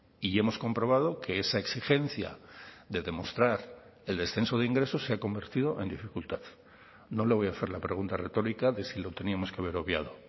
y hemos comprobado que esa exigencia de demostrar el descenso de ingresos se ha convertido en dificultad no le voy a hacer la pregunta retórica de si lo teníamos que haber obviado